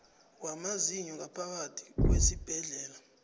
wamazinyo ngaphakathi kwesibhedlela